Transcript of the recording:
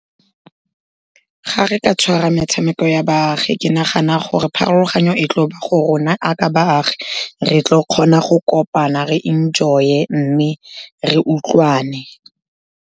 Ga re ka tshwara metshameko ya baagi, ke nagana gore pharologanyo e tlo ba go rona ya ka baagi, re tlo kgona go kopana, re enjoy-e mme re utlwane.